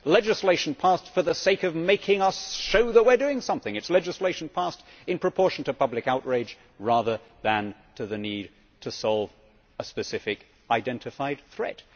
It is legislation passed for the sake of showing that we are doing something it is legislation passed in proportion to public outrage rather than the need to solve a specific identified threat.